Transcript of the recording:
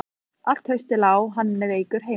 Allt haustið lá hann veikur heima.